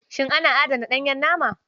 Shin ana adana ɗanyen nama?